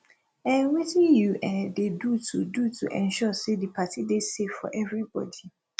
um wetin you um dey do to do to ensure say di party dey safe for everbody